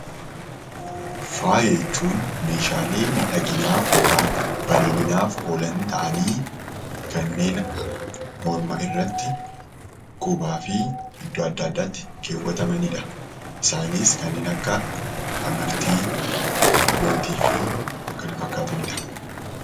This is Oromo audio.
Faaaya jechuun meeshaalee miidhaginaaf yookaan bareedinaaf oolan ta'anii kanneen morma irratti, qubaa fi iddoo adda addaatti keewwatamanidha. Isaanis kanneen akka amartii, lootii fi kan kana fakkaatanidha.